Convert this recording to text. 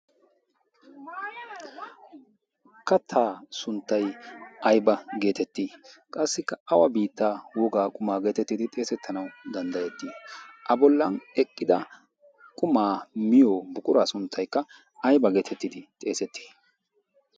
kattaa sunttay ayba geetettii? qassikka awa biittaa wogaa qumaa geetettidi xeesettanau danddayettii a bollan eqqida qumaa miyo buquraa sunttaykka ayba geetettidi xeesettii?